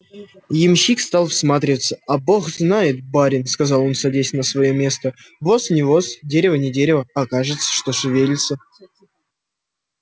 ямщик стал всматриваться а бог знает барин сказал он садясь на своё место воз не воз дерево не дерево а кажется что шевелится